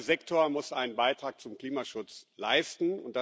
Jeder Sektor muss einen Beitrag zum Klimaschutz leisten.